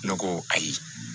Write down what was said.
Ne ko ayi